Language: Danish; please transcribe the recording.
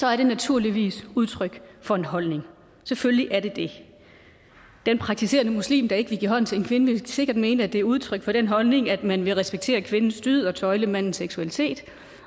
er det naturligvis udtryk for en holdning selvfølgelig er det det den praktiserende muslim der ikke vil give hånd til en kvinde vil sikkert mene at det er udtryk for den holdning at man vil respektere kvindens dyd og tøjle mandens seksualitet